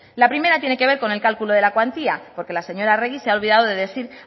la primera tiene que ver con el cálculo de la cuantía porque la señora arregi se ha olvidado de decir